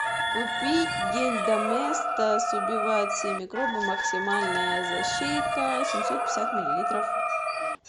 купить гель доместос убивает всех микробов максимальная защита семьсот пятьдесят миллилитров